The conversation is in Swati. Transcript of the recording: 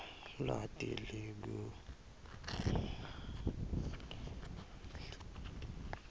lwati lolungakeneli